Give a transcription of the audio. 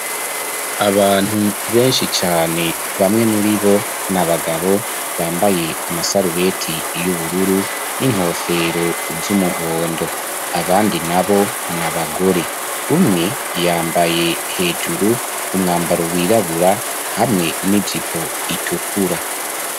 Abantu benshi cane bamwe muri bo nia bagabo bambaye amasarubeti y'ubururu n'inkofero z'umuhondo abandi na bo nia bagore umwe yambaye hejuru umwambaro wirabura hamwe n'ijipo itukura.